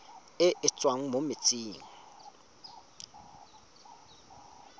e e tswang mo metsing